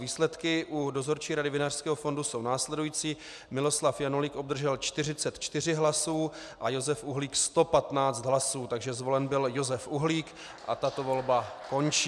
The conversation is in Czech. Výsledky u Dozorčí rady Vinařského fondu jsou následující: Miloslav Janulík obdržel 44 hlasů a Josef Uhlík 115 hlasů, takže zvolen byl Josef Uhlík a tato volba končí.